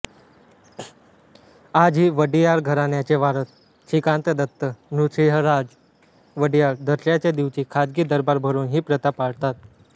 आजही वडियार घराण्याचे वारस श्रीकांतदत्त नृसिंहराज वडियार दसऱ्याच्या दिवशी खाजगी दरबार भरवून ही प्रथा पाळतात